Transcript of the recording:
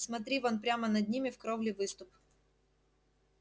смотри вон прямо над ними в кровле выступ